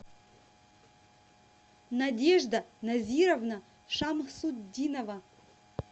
надежда назировна шамсутдинова